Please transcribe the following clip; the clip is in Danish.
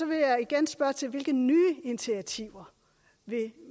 vil jeg gerne spørge til hvilke nye initiativer